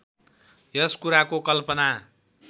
यस कुराको कल्पना